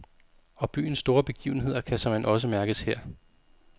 Og byens store begivenheder kan såmænd også mærkes her.